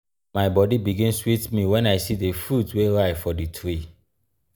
my bodi begin sweet me wen i see di fruit wey ripe for di tree.